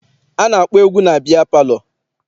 A na-akpọ egwu na biya palọ.